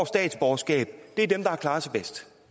statsborgerskab er dem der har klaret sig bedst